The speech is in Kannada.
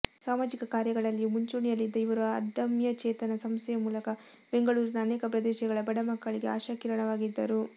ಸಾಮಾಜಿಕ ಕಾರ್ಯಗಳಲ್ಲಿಯೂ ಮುಂಚೂಣಿಯಲ್ಲಿದ್ದ ಇವರು ಅದಮ್ಯಚೇತನ ಸಂಸ್ಥೆಯ ಮೂಲಕ ಬೆಂಗಳೂರಿನ ಅನೇಕ ಪ್ರದೇಶಗಳ ಬಡಮಕ್ಕಳಿಗೆ ಆಶಾಕಿರಣವಾಗಿದ್ದರು